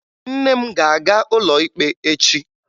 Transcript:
Nne m ga-aga ụlọ ikpe echi